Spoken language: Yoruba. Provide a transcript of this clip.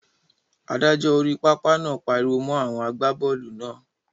Adájọ́ orí pápá náà pariwo mọ́ àwọn àgbábọ́ọ̀lù náà.